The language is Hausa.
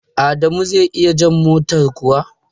Adamu zai iya jan motar kuwa?